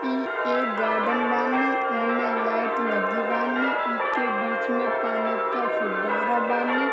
इ एक गार्डन बानी इमे लाइट लगे बानी इके बीच में पानी की फूव्वारा बानी।